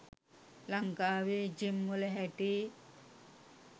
ලංකාවේ ජිම් වල හැටි